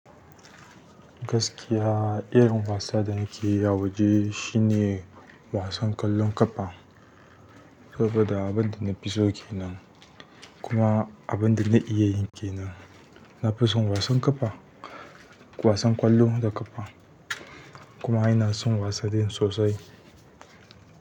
Gaskiya, irin wasa da nake yi a waje shine wasan ƙwallon ƙafa saboda abin da na fi so ke nan kuma abin da na iya ke nan. Na fi son wasan ƙafa, wasan ƙwallo da ƙafa kuma ina son wasa din sosai.